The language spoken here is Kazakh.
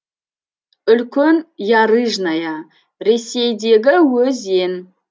үлкен ярыжная ресейдегі өзен